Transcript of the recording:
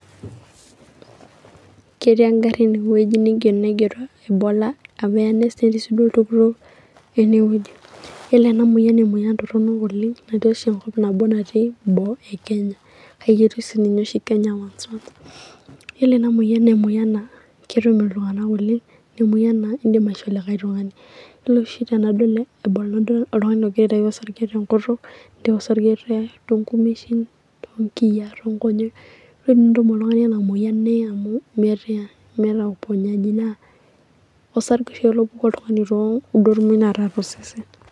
Ketii egarri ene wueji naigero Ebola amu eeya sii duo oltururr lene weuji, ore ena moyian naa emoyian torronok oleng' amu ketii oshi Enkop nabo natiii eboo eKenya kake ketii sininye oshi Kenya once once . Yielo ena moyian na ketum iltung'anak oleng' naa emoyian naa envho likae tung'ani. Yielo oshi anadol likae tung'ani ogira aitau osarge tenkutuk, oltau osarge te nghmeshin, otongiyiaa, tong'onyek ore tenetum oltung'ani ena moyian neye amu meeta uponyajii naa osarge oshi opuku oltung'ani too gumot naata tosesen.